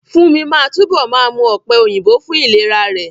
Fúnmi máa túbọ̀ máa mú ọ̀pẹ̀ òyìnbó fún ìlera rẹ̀